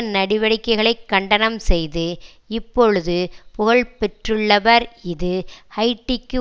நடவடிக்கைகளை கண்டனம் செய்து இப்பொழுது புகழ் பெற்றுள்ளவர் இது ஹைய்ட்டிக்கு